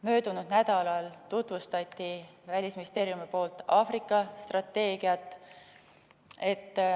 Möödunud nädalal tutvustas Välisministeerium Aafrika strateegiat.